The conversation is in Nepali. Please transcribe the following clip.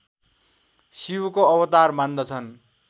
शिवको अवतार मान्दछन्